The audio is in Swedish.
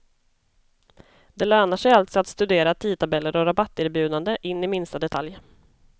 Det lönar sig alltså att studera tidtabeller och rabatterbjudande in i minsta detalj.